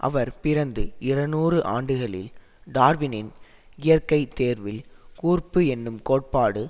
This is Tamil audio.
அவர் பிறந்து இருநூறு ஆண்டுகளில் டார்வினின் இயற்கை தேர்வில் கூர்ப்பு என்னும் கோட்பாடு